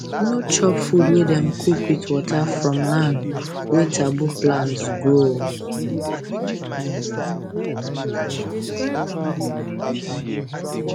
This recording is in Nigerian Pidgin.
no chop food wey dem cook with water from land wey taboo plants grow